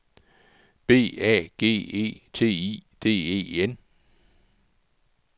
B A G E T I D E N